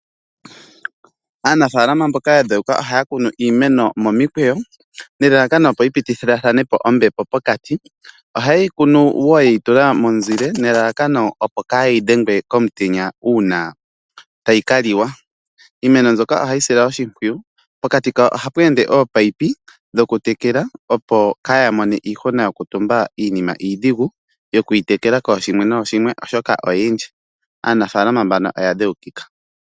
Aanafaalama mboka ya dhewuka ohaya kunu iimeno momikweyo nelalakano opo yi pitathanepo ombepo pokati . Ohayeyi kunu woo yeyi tula momuzile nelalakano opo kayi dhengwe komutenya uuna tayi kaliwa . Iimeno mbyoka ohayi silwa oshimpwiyu pokati kayo ohapu ende ominino dhokutekela opo kaya mone iihuna yokutumba iinima iidhigu yoku yitekela kooshimwe nooshimwe oshoka oyindji. Aanafaalama mbano oya dhewukika.